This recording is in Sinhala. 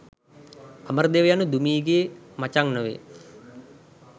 අමරදේව යනු දුමී ගේ මචං නොවේ